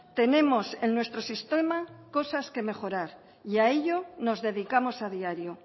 tenemos en nuestro sistema cosas que mejorar y a ello nos dedicamos a diario